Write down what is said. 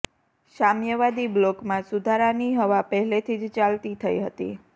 સામ્યવાદી બ્લોકમાં સુધારાની હવા પહેલેથી જ ચાલતી થઈ હતી